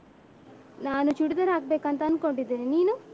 ನಾನು ಚೂಡಿದಾರ್ ಹಾಕ್ಬೇಕು ಅಂತ ಅಂದ್ಕೊಂಡಿದ್ದೇನೆ ನೀನು?